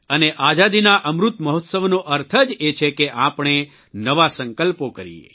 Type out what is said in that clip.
અને આઝાદીના અમૃત મહોત્સવનો અર્થ જ એ છે કે આપણે નવા સંકલ્પો કરીએ